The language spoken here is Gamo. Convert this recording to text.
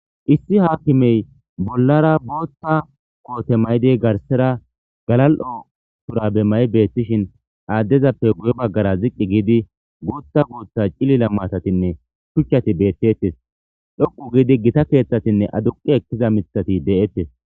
Issi haakimey bollara bootta koote maydey garsera galal'o tura be may'beethtishin aaddezappe guye baggara ziqqi giidi guutha guutha cilila maatatinne shuchchati beethtettes dhoqu giidi gita keeththatinne aduqi ekkiza mithati de'ettes.